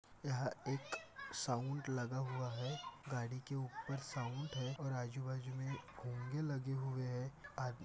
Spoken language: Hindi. यहा एक साऊंड लगा हुआ है गाडी के उपर साऊंड है और आजूबाजू मे भोंगे लगी हुई है आ--